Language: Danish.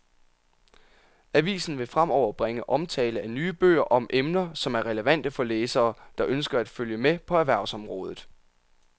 Avisen vil fremover bringe omtale af nye bøger om emner, som er relevante for læsere, der ønsker at følge med på erhvervsområdet.